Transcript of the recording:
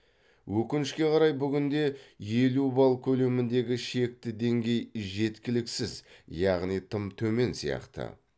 өкінішке қарай бүгінде елу балл көлеміндегі шекті деңгей жеткіліксіз яғни тым төмен сияқты